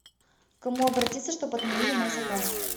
к кому обратиться чтобы отменили мой заказ